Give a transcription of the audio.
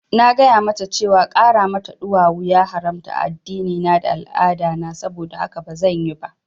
Na gaya mata cewa ƙara mata ɗuwawu ya haramta a addinina da al'adana, saboda haka bazan yi ba